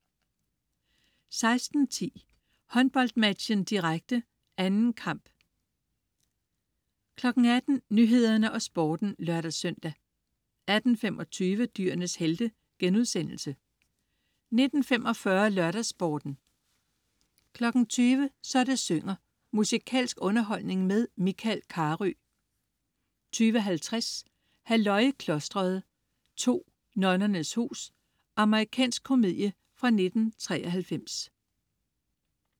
16.10 HåndboldMatchen, direkte. 2. kamp 18.00 Nyhederne og Sporten (lør-søn) 18.25 Dyrenes helte* 19.45 LørdagsSporten 20.00 Så det synger. Musikalsk underholdning med Michael Carøe 20.50 Halløj i klosteret 2. Nonnernes hus. Amerikansk komedie fra 1993